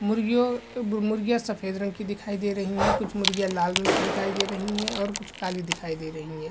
मुर्गियों अ ब मुर्गियाँ सफ़ेद रंग की दिखाई दे रहीं हैं कुछ मुर्गियाँ लाल रंग की दिखाई दे रहीं हैं और कुछ काली दिखाई दे रहीं हैं।